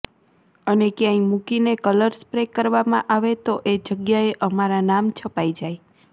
અને ક્યાંય મૂકીને કલર સ્પ્રે કરવામાં આવે તો એ જગ્યાએ અમારા નામ છપાઈ જાય